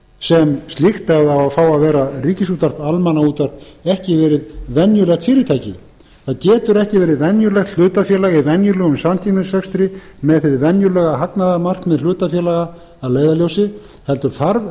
sem slíkt ef það á að fá að vera ríkisútvarp almannaútvarp ekki verið venjulegt fyrirtæki það getur ekki verið venjulegt hlutafélag í venjulegum samkeppnisrekstri með hið venjulega hagnaðarmarkmið hlutafélaga að leiðarljósi heldur þarf